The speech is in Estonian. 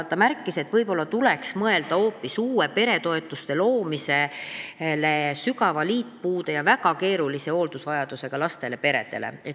Ta märkis, et võib-olla tuleks mõelda hoopis uue peretoetuse loomisele sügava liitpuude ja väga keerulise hooldusvajadusega lastega perede jaoks.